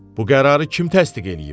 Bu qərarı kim təsdiq eləyib?